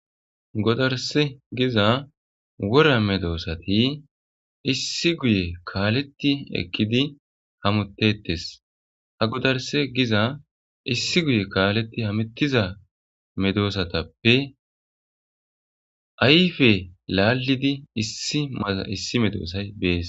godarse giza wora medoosati issi guye kaaletti ekkidi hamuttettes ha godarse giza issi guye kaaleti hamuttiza medoosatappe ayfe laallidi issi maza issi medoosay bees